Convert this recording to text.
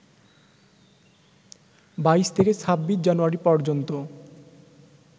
২২ থেকে ২৬ জানুয়ারি পর্যন্ত